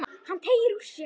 Hann teygir úr sér.